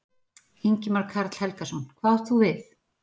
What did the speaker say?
Ingimar Karl Helgason: Hvað átt þú við?